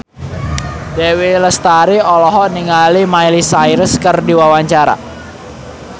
Dewi Lestari olohok ningali Miley Cyrus keur diwawancara